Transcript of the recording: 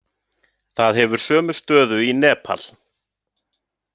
Það hefur sömu stöðu í Nepal.